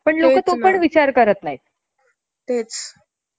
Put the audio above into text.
आणि sound pollution आपण casual समजतो तितकं नाहीये